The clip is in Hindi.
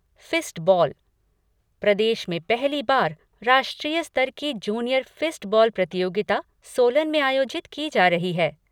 फ़िस्ट बॉल प्रदेश में पहली बार राष्ट्रीय स्तर की जूनियर फ़िस्ट बॉल प्रतियोगिता सोलन में आयोजित की जा रही है।